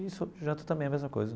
E isso janta também, a mesma coisa.